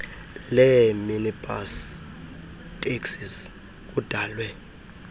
leeminibus taxis kudalwe